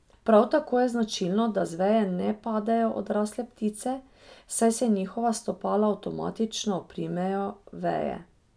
Prav tako je značilno, da z veje ne padejo odrasle ptice, saj se njihova stopala avtomatično oprimejo veje.